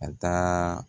A taa